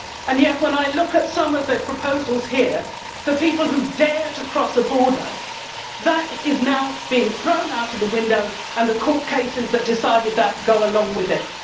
Yet, when I look at some of the proposals here for people who dare to cross a border that is now being thrown out of the window and the court cases that decided that go along with it.